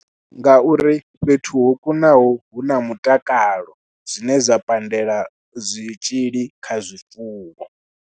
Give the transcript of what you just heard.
Nga uri fhethu ho kunaho hu na mutakalo zwine zwa pandela zwitzhili kha zwifuwo.